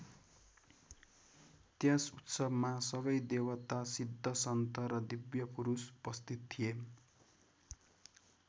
त्यस उत्सवमा सबै देवता सिद्ध सन्त र दिव्यपुरूष उपस्थित थिए।